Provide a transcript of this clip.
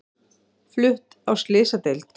Flutt á slysadeild